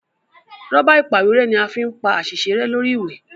Rọ́bà ìpàwérẹ́ ní a fín pá àsìṣe rẹ lórí ìwé.